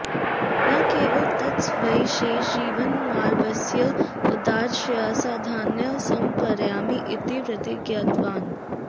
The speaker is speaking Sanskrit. न केवलं तत् स्वीयं शेषजीवनं मालवीयस्य उदात्ताशयसाधनाय समर्पयामि इति प्रतिज्ञातवान्